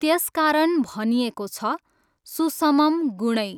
त्यसकारण भनिएको छ, सुसमं गुणैः।